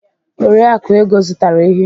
Oriakụ Ego zụtara ehi.